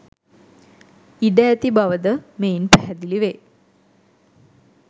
ඉඩ ඇති බවද මෙයින් පැහැදිලි වේ.